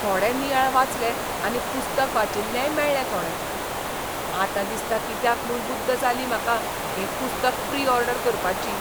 थोडे नियाळ वाचले आनी पुस्तक वाचिल्लेय मेळ्ळे थोडे. आतां दिसता कित्याक म्हूण बुद्द जाली म्हाका हें पुस्तक प्री ऑर्डर करपाची!